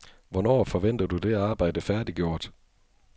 Hvornår forventer du det arbejde færdiggjort?